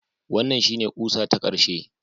Wannan shine ƙusa ta ƙarshe